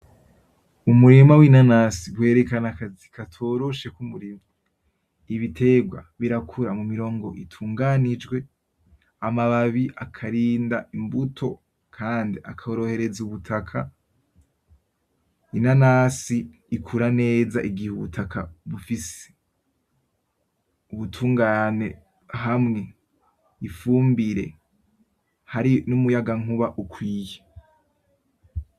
Umurima w’inanasi werekana akazi katoroshe k’umurimyi, ibiterwa birakura mu mirongo itunganijwe, amababi akarinda imbuto kandi akorohereza ubutaka; Inanasi ikura neza igihe ubutaka bufise ubutungane hamwe n’ifumbire hari n’umuyagankuba ukwiye.